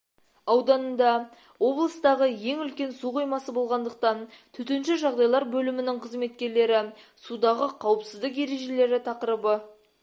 ауданында облыстағы ең үлкен су қоймасы болғандықтан төтенше жағдайлар бөлімінің қызметкерлері судағы қауіпсіздік ережелері тақырыбы